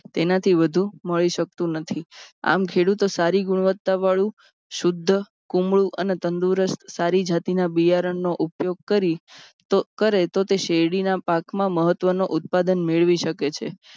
તેનાથી વધુ મળી સકતું નથી. આમ ખેડૂતો સારી ગુણવત્તાવાળું શુધ્ધ કુમળું અને તંદુરસ્ત સારી જાતિના બિયારણનો ઉપયોગ કરી કરે તો તે શેરડીના પાકમાં મહત્ત્વનો ઉત્પાદન મેળવી શકે છે.